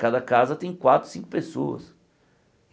Cada casa tem quatro, cinco pessoas.